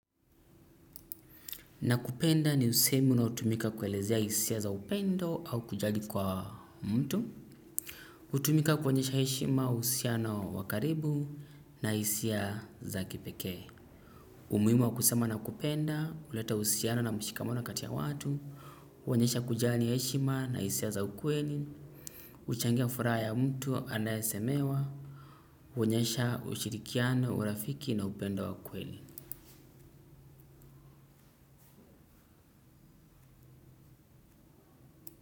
Nakupenda ni usemi unaotumika kuelezea isia za upendo au kujali kwa mtu. Utumika kuonyesha eshima usiano wa karibu na isia za kipekee. Umuimu wa kusema nakupenda, uleta usiano na mshikamono kati ya watu, uonyesha kujali eshima na isia za ukweli, uchangia furaha ya mtu anayesemewa, uonyesha ushirikiano, urafiki na upendo wa kweli.